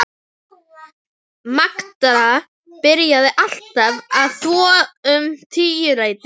Magda byrjaði alltaf að þvo um tíuleytið á